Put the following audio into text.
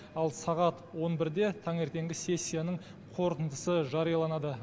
ал сағат он бірде таңертеңгі сессияның қорытындысы жарияланады